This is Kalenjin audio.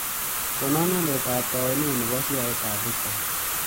Konon alyetap taawunet ne po sheaitap brookside